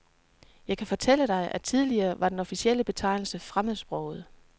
Jeg kan fortælle dig, at tidligere var den officielle betegnelse fremmedsprogede.